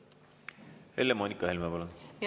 Helle-Moonika Helme, palun!